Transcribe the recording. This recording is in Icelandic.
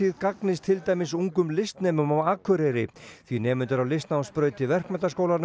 gagnist til dæmis ungum listnemum á Akureyri því nemendur á listnámsbraut í Verkmenntaskólanum